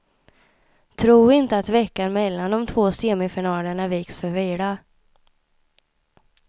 Tro inte att veckan mellan de två semifinalerna viks för vila.